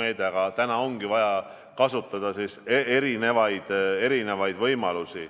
meede, aga praegu ongi vaja kasutada erinevaid võimalusi.